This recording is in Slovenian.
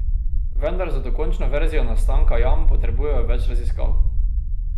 Vendar za dokončno verzijo nastanka jam potrebujejo več raziskav.